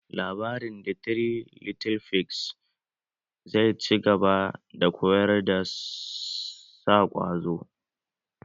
Labarin "The three little figs" zai ci gaba da koyar da sa ƙwazo